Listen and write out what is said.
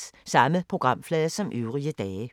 Samme programflade som øvrige dage